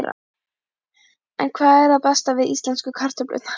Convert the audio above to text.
En hvað er það besta við íslensku kartöflurnar?